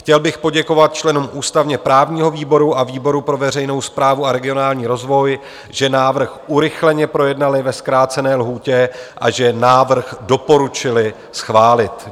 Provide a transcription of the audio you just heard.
Chtěl bych poděkovat členům ústavně-právního výboru a výboru pro veřejnou správu a regionální rozvoj, že návrh urychleně projednali ve zkrácené lhůtě a že návrh doporučili schválit.